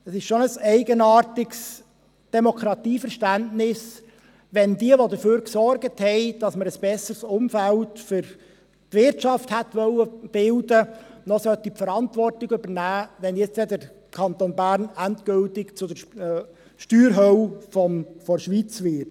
Es ist schon ein eigenartiges Demokratieverständnis, wenn diejenigen, die dafür gesorgt haben, dass wir ein besseres Umfeld für die Wirtschaft hätten bilden wollen, noch die Verantwortung übernehmen sollten, wenn nun der Kanton Bern endgültig zur Steuerhölle der Schweiz wird.